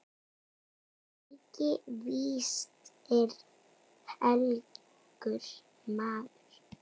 Helgi víst er helgur maður.